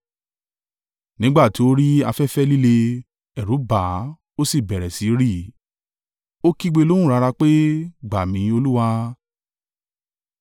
Nígbà tí ó rí afẹ́fẹ́ líle, ẹ̀rù bà á, ó sì bẹ̀rẹ̀ sí í rì. Ó kígbe lóhùn rara pé, “Gbà mí, Olúwa.”